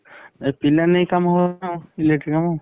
ଏ ପିଲା ନେଇ କାମ ହବନା ଆଉ electric କାମ।